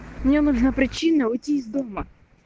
мне нужны причины уйти из дома